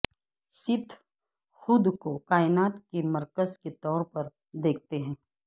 سیتھ خود کو کائنات کے مرکز کے طور پر دیکھتے ہیں